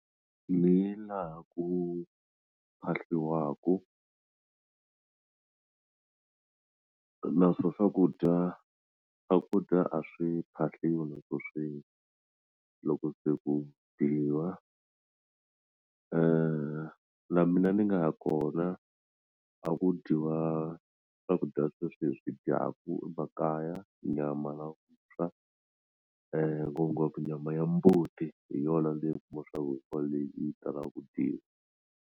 Niye laha ku phahliwaku na swo swakudya swakudya a swi phahliwi loko swi loko se ku dyiwa na mina ni nga ya kona a ku dyiwa swakudya sweswi hi swi dyaku emakaya nyama na vuswa ngopfungopfu nyama ya mbuti hi yona ni yi kuma swa ku leyi yi talaka ku dyiwa.